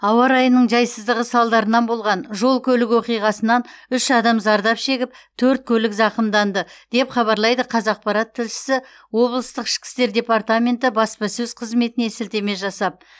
ауа райының жайсыздығы салдарынан болған жол көлік оқиғасынан үш адам зардап шегіп төрт көлік зақымданды деп хабарлайды қазақпарат тілшісі облыстық ішкі істер департаменті баспасөз қызметіне сілтеме жасап